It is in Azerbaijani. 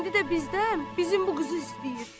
İndi də bizdən, bizim bu qızı istəyir.